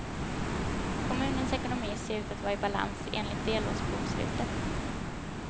Kommunens ekonomi ser ut att vara i balans, enligt delårsbokslutet.